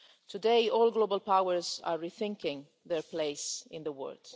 Today, all global powers are rethinking their place in the world.